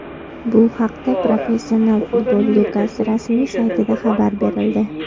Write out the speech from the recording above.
Bu haqda Professional futbol ligasi rasmiy saytida xabar berildi .